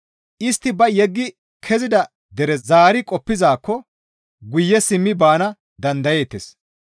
Istti ba yeggi kezida dere zaari qoppizaakko guye simmi baana dandayeettes.